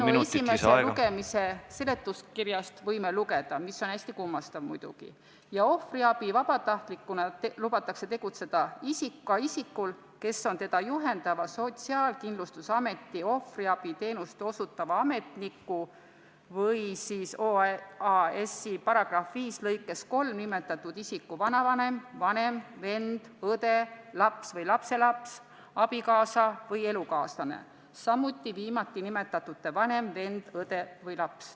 Eelnõu esimese lugemise aegsest seletuskirjast võime lugeda – mis on muidugi hästi kummastav – järgmist: "Ohvriabi vabatahtlikuna lubatakse tegutseda ka isikul, kes on teda juhendava Sotsiaalkindlustusameti ohvriabiteenust osutava ametniku või OAS-i § 5 lõikes 3 nimetatud isiku vanavanem, vanem, vend, õde, laps või lapselaps, abikaasa või elukaaslane, samuti viimati nimetatute vanem, vend, õde või laps.